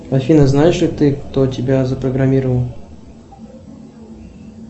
афина знаешь ли ты кто тебя запрограммировал